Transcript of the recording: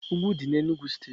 Úgwù Ụdị dị n'Enugu steeti